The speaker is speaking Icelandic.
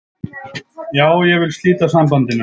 Já, ég vil slíta sambandinu.